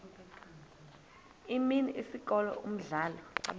imini isikolo umdlalo